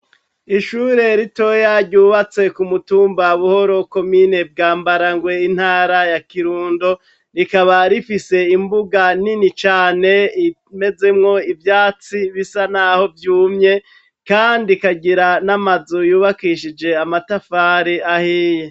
Ishure ritoya ryubatse ku mutumba Buhoro komine Bwambarangwe intara ya Kirundo rikaba rifise imbuga nini cane imezemwo ivyatsi bisa n'aho vyumye kandi ikagira n'amazu yubakishije amatafari ahiye.